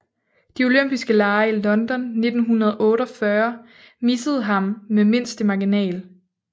De olympiske Lege i London i 1948 missede ham med mindste marginal